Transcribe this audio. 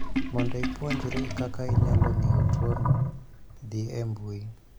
Mondo ipuonjri kaka inyalo ng'eyo tuo no, dhi e mbui